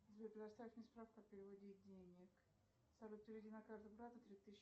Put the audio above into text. сбер предоставь мне справку о переводе денег салют переведи на карту брату три тысячи